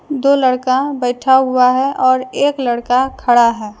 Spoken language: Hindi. दो लडका बैठा हुआ है और एक लडका खडा है।